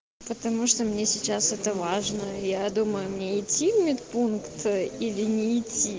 потому что мне сейчас это важно я думаю мне идти в медпункт или нет